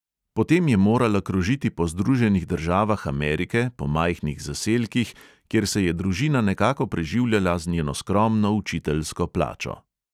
Potem je morala krožiti po združenih državah amerike, po majhnih zaselkih, kjer se je družina nekako preživljala z njeno skromno učiteljsko plačo.